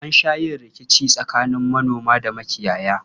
An sha yin rikici tsakanin manoma da makiyaya.